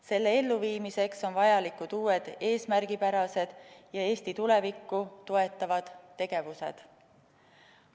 Selle elluviimiseks on vajalikud uued eesmärgipärased ja Eesti tulevikku toetavad tegevused.